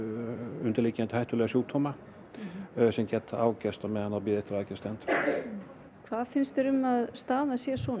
undirliggjandi hættulega sjúkdóma sem geta ágerst meðan á bið stendur hvað finnst þér um að staðan sé svona